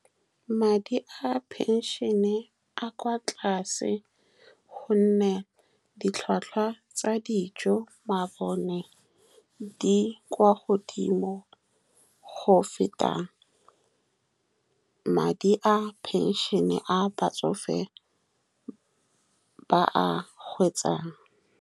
Madi a phenšene a kwa tlase, ka gonne ditlhwatlhwa tsa dijo, mabone, di kwa godimo go feta madi a phenšene a batsofe a ba a hwetšang.